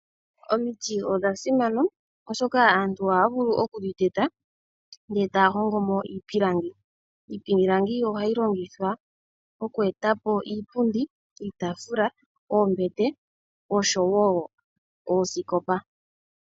Omiti odhasima oshoka aantu oha ya vulu oku dhi teta e taya hongomo iipilangi . Iipilangi ohayi longithwa oku e tapo iipundi, iitaafula ,oombete oshowo oosikopa.